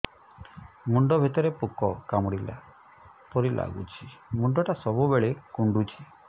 ମୁଣ୍ଡ ଭିତରେ ପୁକ କାମୁଡ଼ିଲା ପରି ଲାଗୁଛି ମୁଣ୍ଡ ଟା ସବୁବେଳେ କୁଣ୍ଡୁଚି